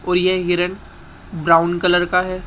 और ये हिरण ब्राउन कलर का है।